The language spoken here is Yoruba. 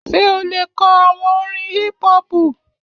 Ṣé o lè kọ àwọn orin hípú-họpù?